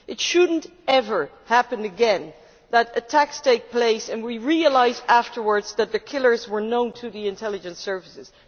It should never happen again that attacks take place and we realise afterwards that the killers were known to the intelligence services.